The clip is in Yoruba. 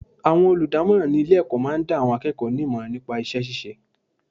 Àwọn olùdámọ́ràn ní ilé ẹ̀kọ́ máa ń dá àwọn akẹ́kọ̀ọ́ ní ìmọ̀ràn nípa iṣẹ́ ṣíṣe.